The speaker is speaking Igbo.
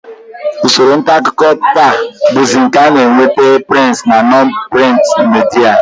Usoro ntaakụkọ taa bụzi nke a na-eweta prịnt na non-prịnt midia